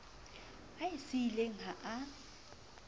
a e siileng ha a